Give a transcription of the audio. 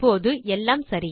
இப்போது எல்லாம் சரி